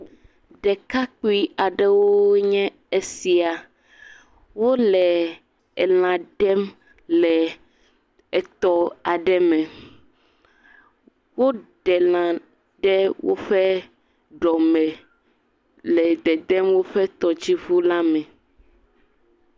Ɖekakpui aɖewo nye esia. Wole elã ɖem le etɔ aɖe me. Woɖe lã ɖe woƒ ɖɔme le dedem woƒe tɔdziŋula me.